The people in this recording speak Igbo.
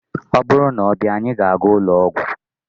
ọ bụrụ na ọ bịa, anyị ga-aga ụlọ ọgwụ